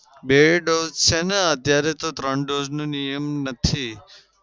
બે dose છે ને અત્યારે તો ત્રણ dose નો નિયમ નથી.